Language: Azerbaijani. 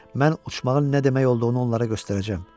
Mən uçmağın nə demək olduğunu onlara göstərəcəm.